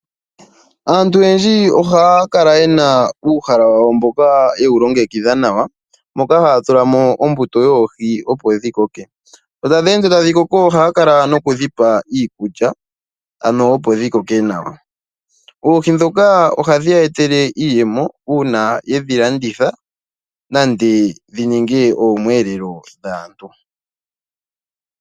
Aantu oyendji ohaya kala ye na uuhala wawo mboka yewu longekidha nawa moka haya tula mo ombuto yoohi opo dhi koke. Sho tadhi ende tadhi koko ohaya kala noku dhipa iikulya ano opo dhikoke nawa. Oohi ndhoka ohadhi ya etele iiyemo uuna yedhi landitha nande dhininge oomwelelo dhaantu.